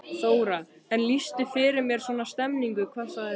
Þóra: En lýstu fyrir mér svona stemmingunni, hvað sagði fólk?